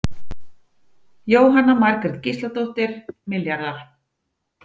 Jóhanna Margrét Gísladóttir: Milljarðar?